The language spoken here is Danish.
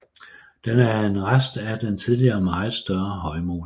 Den er en rest af en tidligere meget større højmose